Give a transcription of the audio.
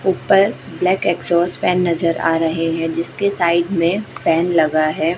ऊपर black exhaust fan नजर आ रहे है जिसके साइड में फैन लगा है।